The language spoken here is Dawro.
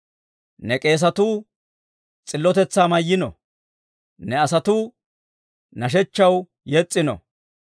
Ne k'eesatuu s'illotetsaa mayno; ne asatuu nashshechchaw yes's'ino.